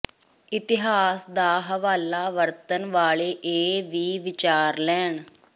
ਇਤਿਹਾਸ ਦਾ ਹਵਾਲਾ ਵਰਤਣ ਵਾਲੇ ਇਹ ਵੀ ਵਿਚਾਰ ਲੈਣ